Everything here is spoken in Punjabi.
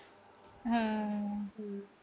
ਹੂੰ।